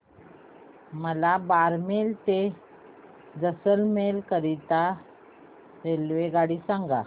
मला बारमेर ते जैसलमेर करीता रेल्वेगाडी सांगा